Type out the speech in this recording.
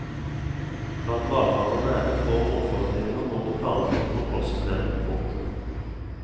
Blant hvalfangerne er det få motforestillinger mot det planlagte kontrollsystemet. punktum